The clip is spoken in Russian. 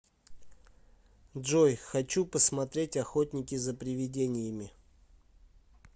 джой хочу посмотреть охотники за приведениями